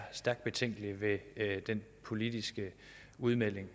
stærkt betænkelig ved den politiske udmelding